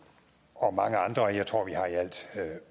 og mange andre jeg tror vi har i alt